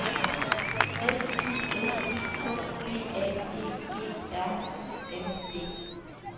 F Y S I K B A G G R U N D